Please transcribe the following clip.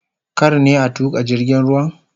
Kar ne a tuka jirgin ruwan?